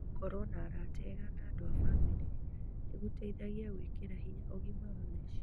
Gũkorũo na arata ega na andũ a bamĩrĩ nĩ gũteithagia gwĩkĩra hinya ũgima wa meciria.